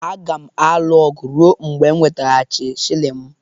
Aga m alụ ọgụ ruo mgbe m ga-eweghachi shilling m